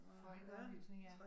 Folkeoplysning ja